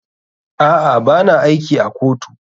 A'a, ba na aiki a kotu.